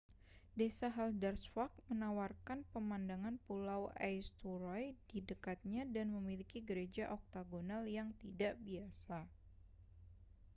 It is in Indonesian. desa haldarsvã­k menawarkan pemandangan pulau eysturoy di dekatnya dan memiliki gereja oktagonal yang tidak biasa